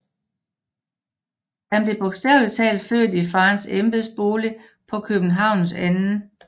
Han blev bogstavelig talt født i faderens embedsbolig på Københavns 2